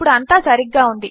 ఇప్పుడుఅంతాసరిగ్గాఉంది